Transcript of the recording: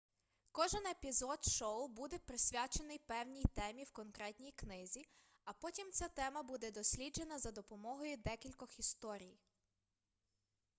кожен епізод шоу буде присвячений певній темі в конкретній книзі а потім ця тема буде досліджена за допомогою декількох історій